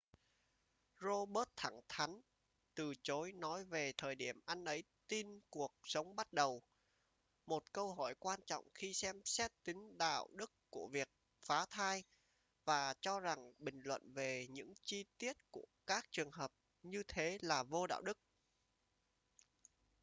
roberts thẳng thắn từ chối nói về thời điểm anh ấy tin cuộc sống bắt đầu một câu hỏi quan trọng khi xem xét tính đạo đức của việc phá thai và cho rằng bình luận về những chi tiết của các trường hợp như thế là vô đạo đức